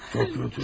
Çox kötü.